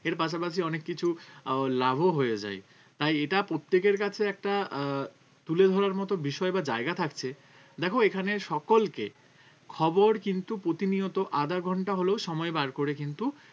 এর পাশাপাশি অনেক কিছু আহ লাভও হয়ে যায় তাই এটা প্রত্যেকের কাছে একটা আহ তুলে ধরার মত বিষয় বা জায়গা থাকছে দেখো এখানে সকলকে খবর কিন্তু প্রতিনিয়ত আধা ঘন্টা হলেও সময় বার করে কিন্তু